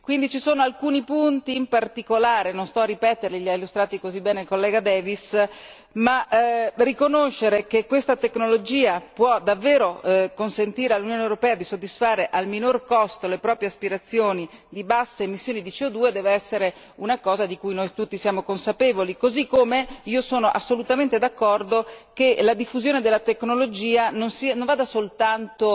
Quindi ci sono alcuni punti in particolare non sto a ripeterli, li ha illustrati così bene il collega Davies ma riconoscere che questa tecnologia può davvero consentire all'Unione europea di soddisfare al minor costo le proprie aspirazioni di basse emissioni di CO 2 deve essere una cosa di cui noi tutti siamo consapevoli, così come io sono assolutamente d'accordo che la diffusione della tecnologia non vada soltanto